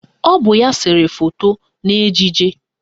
Ọ bụ ya sere foto n'ejije